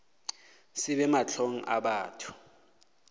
se be mahlong a batho